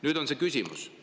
Nüüd on küsimus.